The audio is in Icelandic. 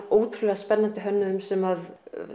ótrúlega spennandi hönnuðum sem